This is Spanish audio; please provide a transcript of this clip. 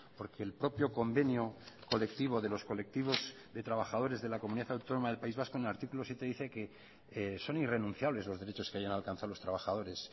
porque el propio convenio colectivo de los colectivos de trabajadores de la comunidad autónoma del país vasco en el artículo siete dice que son irrenunciables los derechos que hayan alcanzado los trabajadores